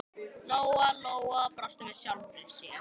Lóa-Lóa brosti með sjálfri sér.